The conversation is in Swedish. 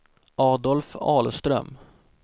Adolf Ahlström